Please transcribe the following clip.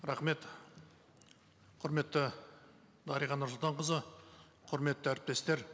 рахмет құрметті дариға нұрсұлтанқызы құрметті әріптестер